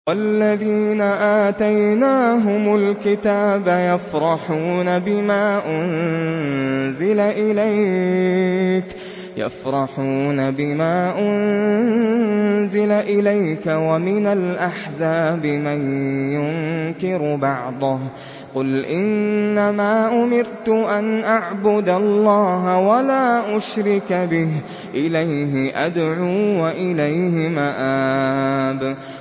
وَالَّذِينَ آتَيْنَاهُمُ الْكِتَابَ يَفْرَحُونَ بِمَا أُنزِلَ إِلَيْكَ ۖ وَمِنَ الْأَحْزَابِ مَن يُنكِرُ بَعْضَهُ ۚ قُلْ إِنَّمَا أُمِرْتُ أَنْ أَعْبُدَ اللَّهَ وَلَا أُشْرِكَ بِهِ ۚ إِلَيْهِ أَدْعُو وَإِلَيْهِ مَآبِ